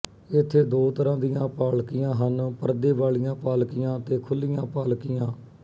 ਇੱਥੇ ਦੋ ਤਰ੍ਹਾਂ ਦੀਆਂ ਪਾਲਕੀਆਂ ਹਨ ਪਰਦੇ ਵਾਲੀਆਂ ਪਾਲਕੀਆਂ ਤੇ ਖੁੱਲ੍ਹੀਆਂ ਪਾਲਕੀਆਂ